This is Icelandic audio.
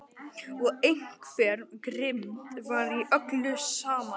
Og einhver grimmd var í öllu saman.